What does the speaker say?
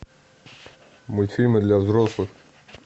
мультфильмы для взрослых